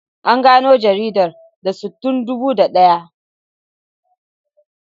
An gano jaridar Th Sun tun dubu da daya.